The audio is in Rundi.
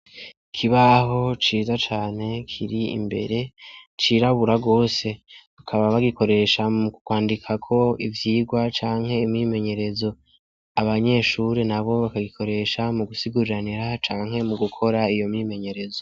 Ikibaho ciza cane kiri imbere cirabura gose bakaba bagikoresha mu kwandikako ivyigwa canke imyimenyerezo abanyeshure nabo bagikoresha mu gusiguriranira canke mu gukora iyo myimenyerezo.